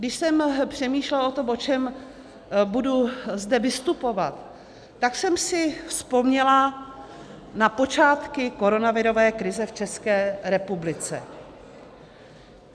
Když jsem přemýšlela o tom, o čem budu zde vystupovat, tak jsem si vzpomněla na počátky koronavirové krize v České republice.